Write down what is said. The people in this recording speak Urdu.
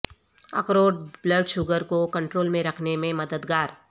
اخروٹ بلڈ شوگر کو کنٹرول میں رکھنے میں مددگار